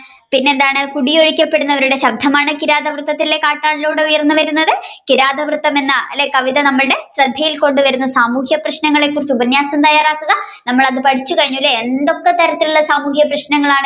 പിന്നെ എന്താണ് കുടിയൊഴുപ്പിക്കപ്പെടുന്നവരുടെ ശബ്ദമാണ് കിരാതവൃത്തത്തിലെ കാട്ടാളനിലൂടെ ഉയർന്നു വരുന്നത് കിരാതവൃത്തം എന്ന അല്ലെ കവിത അല്ലെ നമ്മുടെ ശ്രദ്ധയിൽ കൊണ്ടുവരുന്ന സാമൂഹിക പ്രശ്നങ്ങളെ കുറിച്ച് ഉപന്യാസം തയ്യാറാക്കുക നമ്മൾ അത് പഠിച്ചു കഴിഞ്ഞു അല്ലെ എന്തൊക്കെ തരത്തിലുള്ള സാമൂഹിക പ്രശ്നങ്ങളാണ്